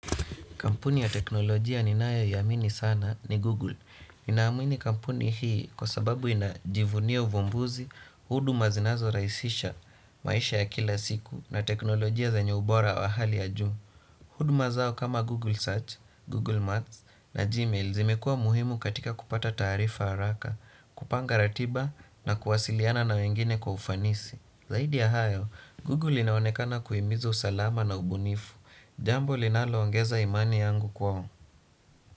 Kampuni ya teknolojia ninayoiamini sana ni Google. Ninaamini kampuni hii kwa sababu inajivunia uvumbuzi, huduma zinazorahisisha maisha ya kila siku na teknolojia zenye ubora wa hali ya juu. Huduma zao kama Google Search, Google Maps na Gmail zimekuwa muhimu katika kupata taarifa haraka, kupanga ratiba na kuwasiliana na wengine kwa ufanisi. Zaidi ya hayo, Google inaonekana kuhimiza usalama na ubunifu, jambo linalo ongeza imani yangu kwao.